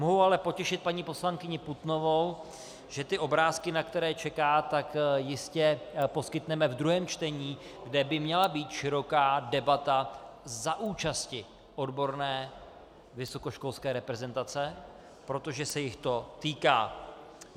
Mohu ale potěšit paní poslankyni Putnovou, že ty obrázky, na které čeká, tak jistě poskytneme v druhém čtení, kde by měla být široká debata za účasti odborné vysokoškolské reprezentace, protože se jich to týká.